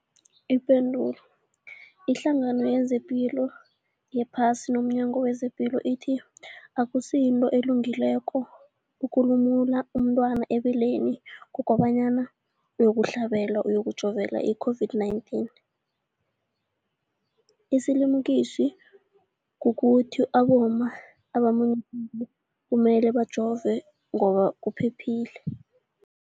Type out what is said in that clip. Ipendulo, iHlangano yezePilo yePhasi nomNyango wezePilo ithi akusinto elungileko ukulumula umntwana ebeleni kobanyana uyokuhlabela, uyokujovela i-COVID-19. Isilimukiso kukuthi abomma abamunyisako kumele bajove ngoba kuphephile.